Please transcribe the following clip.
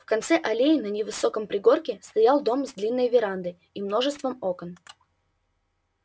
в конце аллеи на невысоком пригорке стоял дом с длинной верандой и множеством окон